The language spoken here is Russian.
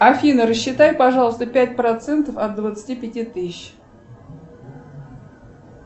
афина рассчитай пожалуйста пять процентов от двадцати пяти тысяч